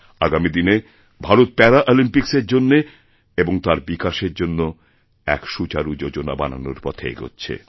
আগামী দিনে ভারত প্যারাঅলিম্পিক্সেরজন্য এবং তার বিকাশের জন্য এক সুচারু যোজনা বানানোর পথে এগোচ্ছে